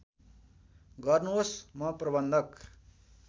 गर्नुहोस् म प्रबन्धक